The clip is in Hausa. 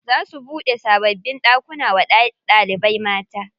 Za su buɗe sababbin ɗakuna wa ɗalibai mata.